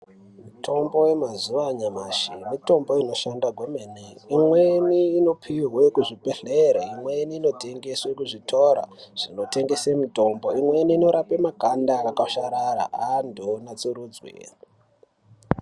Mitombo yemazuwa anyamashi mitombo inoshanda kwemene. Imweni inopihwe kuzvibhedhlere, imweni inotengeswe kuzvitora zvinotengese mitombo imweni inorapa makanda akakwasharara antu anatsurudzwe.